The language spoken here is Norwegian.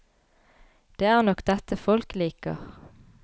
Det er nok dette folk liker.